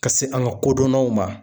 Ka se an ka kodɔnnaw ma